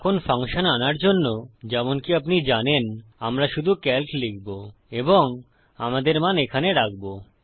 এখন ফাংশন আনার জন্য যেমনকি আপনি জানেন আমরা শুধু সিএএলসি লিখবো এবংআমাদের মান এখানে রাখবো